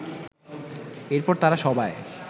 এরপর তাঁরা সবাই